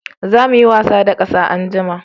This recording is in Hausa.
Za mu yi wasa da ƙasa anjima